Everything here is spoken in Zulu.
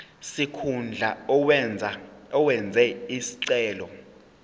sikhundla owenze isicelo